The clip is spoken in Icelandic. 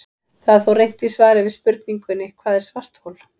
Það er þó reynt í svari við spurningunni Hvað er svarthol?